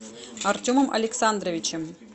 артемом александровичем